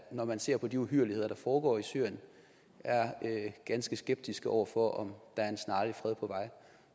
når man ser på de uhyrligheder der foregår i syrien er ganske skeptiske over for om der er en snarlig fred på vej